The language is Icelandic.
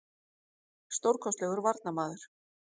Stórkostlegur varnarmaður.